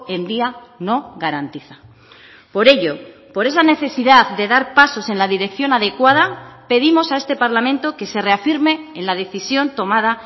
en día no garantiza por ello por esa necesidad de dar pasos en la dirección adecuada pedimos a este parlamento que se reafirme en la decisión tomada